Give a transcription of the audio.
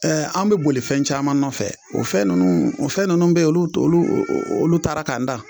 an be boli fɛn caman nɔfɛ o fɛn nunnuu o fɛn nunnu be olu t'olu o o olu taara k'an dan.